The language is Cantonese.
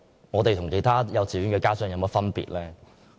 我們與其他幼稚園家長有何分別？